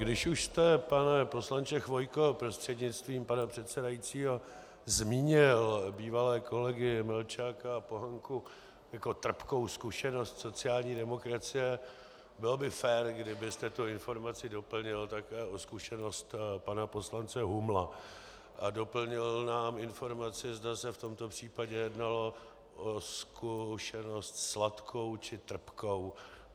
Když už jste, pane poslanče Chvojko prostřednictvím pana předsedajícího, zmínil bývalé kolegy Melčáka a Pohanku jako trpkou zkušenost sociální demokracie, bylo by fér, kdybyste tu informaci doplnil také o zkušenost pana poslance Humla a doplnil nám informaci, zda se v tomto případě jednalo o zkušenost sladkou, či trpkou.